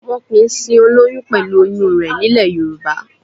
Wọn kìí sin olóyún pẹ̀lú oyún rẹ̀ nílẹ̀ Yorùbá